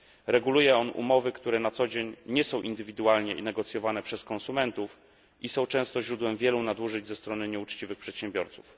Reguluje on umowy, które na co dzień nie są indywidualnie negocjowane przez konsumentów i są często źródłem wielu nadużyć ze strony nieuczciwych przedsiębiorców.